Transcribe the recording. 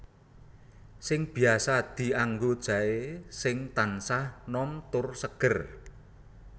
Sing biasa dianggo jaé sing tansah nom tur seger